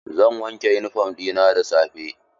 Zan wanke yunifom ɗina da safe.